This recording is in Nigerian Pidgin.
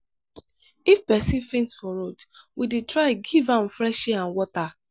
if pesin faint for road we dey try give am fresh air and water.